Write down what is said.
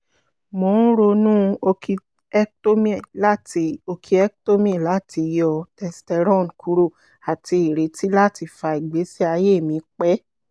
mo n ronu orchiectomy lati orchiectomy lati yọ testosterone kuro ati ireti lati fa igbesi aye mi pẹ